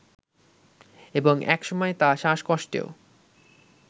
এবং একসময় তা শ্বাসকষ্টেও